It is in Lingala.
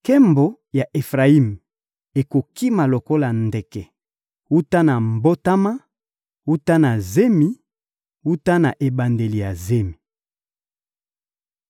Nkembo ya Efrayimi ekokima lokola ndeke, wuta na mbotama, wuta na zemi, wuta na ebandeli ya zemi.